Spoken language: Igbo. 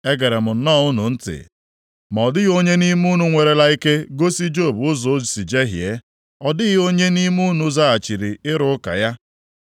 Egere m nnọọ unu ntị, ma ọ dịghị onye nʼime unu nwerela ike gosi Job ụzọ o si jehie; ọ dịghị onye nʼime unu zaghachiri ịrụ ụka ya.